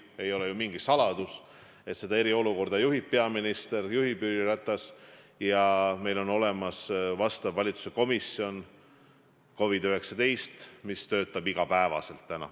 Ei ole mingi saladus, et seda eriolukorda juhib peaminister, juhib Jüri Ratas ja meil on olemas vastav COVID-19 valitsuskomisjon, mis töötab igapäevaselt.